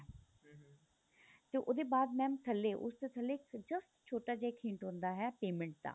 ਤੇ ਉਹਦੇ ਬਾਅਦ mam ਥੱਲੇ ਉਸ ਦੇ ਥੱਲੇ ਇੱਕ just ਛੋਟਾ ਜਿਹਾ ਇੱਕ hint ਹੁੰਦਾ ਹੈ payment ਦਾ